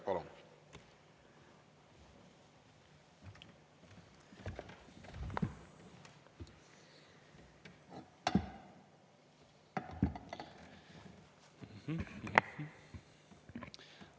Palun!